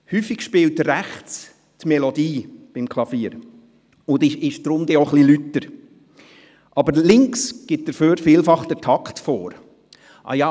Beim Klavier wird die Melodie häufig rechts gespielt, sodass sie auch etwas lauter ist, links wird aber vielfach der Takt vorgegeben.